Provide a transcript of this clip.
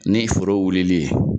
Ni foro wulili ye.